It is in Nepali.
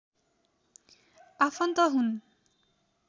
आफन्त हुन्